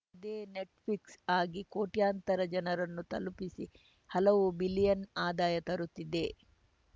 ಅದೇ ಈ ನೆಟ್‌ಫ್ಲಿಕ್ಸ್‌ ಆಗಿ ಕೋಟ್ಯಂತರ ಜನರನ್ನು ತಲುಪಿಸಿ ಹಲವು ಬಿಲಿಯನ್‌ ಆದಾಯ ತರುತ್ತಿದೆ